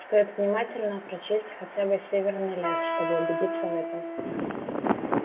стоит внимательно прочесть хотя бы северный лес чтобы убедиться в этом